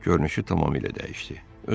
Görünüşü tamamilə dəyişdi.